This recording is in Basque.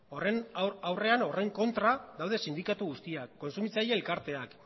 horren kontra daude sindikatu guztiak kontsumitzaile elkarteak